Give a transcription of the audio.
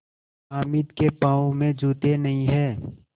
हामिद के पाँव में जूते नहीं हैं